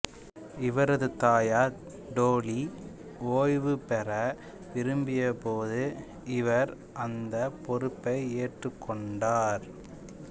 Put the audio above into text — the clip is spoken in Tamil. இவரது தாயார் டோலி ஓய்வு பெற விரும்பியபோது இவர் அந்தப் பொறுப்பை ஏற்றுக்கொண்டார்